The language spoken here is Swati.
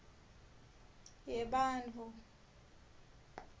yebantfu